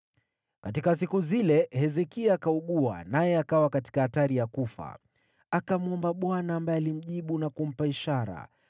Katika siku hizo, Hezekia akaugua, naye akawa karibu kufa. Akamwomba Bwana , ambaye alimjibu na kumpa ishara.